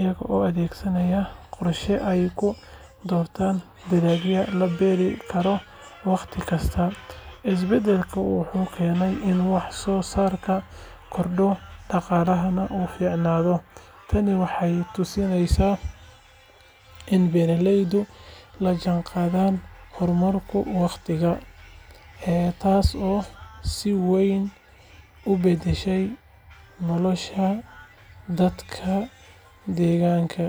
iyaga oo adeegsanaya qorshe ay ku doortaan dalagga la beeri karo wakhti kasta. Isbeddelkan wuxuu keenay in wax soo saarka kordho, dhaqaalahana uu fiicnaado. Tani waxay tusinaysaa in beeralaydu la jaanqaadeen horumarka wakhtiga, taasoo si weyn u beddeshay nolosha dadka deegaanka.